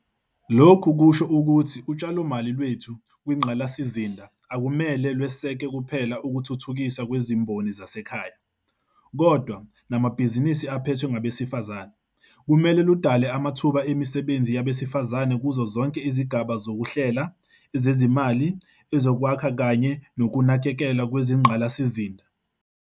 Lokhu kusho ukuthi utshalomali lwethu kwingqalasizinda akumele lweseke kuphela ukuthuthukiswa kwezimboni zasekhaya, kodwa namabhizinisi aphethwe ngabesifazane. Kumele ludale amathuba emisebenzi yabesifazane kuzozonke izigaba zoku hlela, ezezimali, ezokwakha kanye nokunakekelwa kwezingqalasizinda.